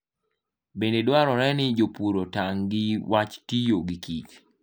Bende dwarore ni jopur otang' gi wach tiyo gi kich.